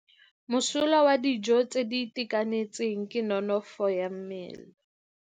Mosola wa dijo tse di itekanetseng ke nonofo ya mmele.